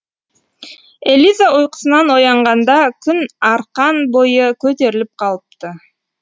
элиза ұйқысынан оянғанда күн арқан бойы көтеріліп қалыпты